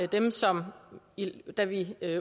dem som da vi